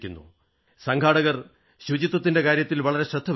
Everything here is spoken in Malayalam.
സംഘാടകർ ശുചിത്വത്തിന്റെ കാര്യത്തിൽ വളരെ ശ്രദ്ധ വച്ചു